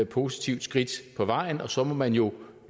positivt skridt på vejen og så må man jo